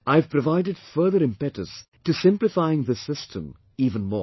I have provided further impetus to simplifying this system even more